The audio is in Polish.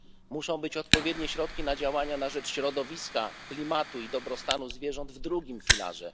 Muszą być odpowiednie środki na działania na rzecz środowiska, klimatu i dobrostanu zwierząt w drugim filarze.